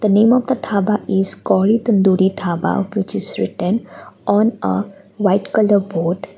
the name of the dhaba is called tandoori dabha which is written on a white colour board.